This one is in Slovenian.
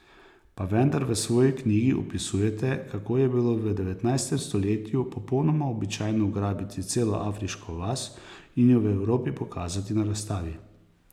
Pa vendar v svoji knjigi opisujete, kako je bilo v devetnajstem stoletju popolnoma običajno ugrabiti celo afriško vas in jo v Evropi pokazati na razstavi.